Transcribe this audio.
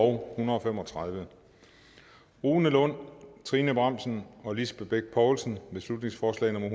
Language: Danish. hundrede og fem og tredive rune lund trine bramsen og lisbeth bech poulsen beslutningsforslag nummer